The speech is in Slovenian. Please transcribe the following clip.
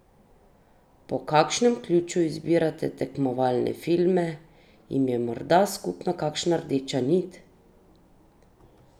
Po kakšnem ključu izbirate tekmovalne filme, jim je morda skupna kakšna rdeča nit?